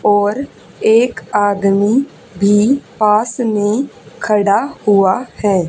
और एक आदमी भी पास में खड़ा हुआ है।